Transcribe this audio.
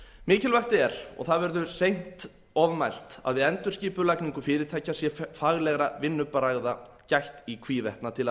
mikilvægt er og það verður seint ofmælt að við endurskipulagningu fyrirtækja sé faglegra vinnubragða gætt í hvívetna til að